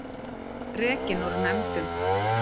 Rekin úr nefndum